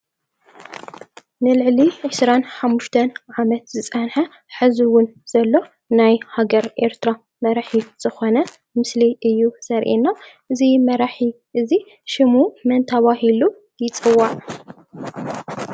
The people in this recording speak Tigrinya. ንልዕሊ ዒስራን ሓሙሽተን ዓመት ዝፀንሐ ሕዚ እውን ዘሎ ናይ ሃገረ ኤርትራ መራሒ ዝኮነ ምስሊ እዩ ዘርእየና። እዚ መራሒ እዚ ሽሙ መን ተባሂሉ ይፅዋዕ?